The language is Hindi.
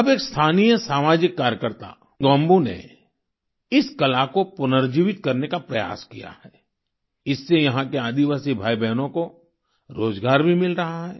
अब एक स्थानीय सामाजिक कार्यकर्ता कलिंग गोम्बू ने इस कला को पुनर्जीवित करने का प्रयास किया है इससे यहाँ के आदिवासी भाईबहनों को रोजगार भी मिल रहा है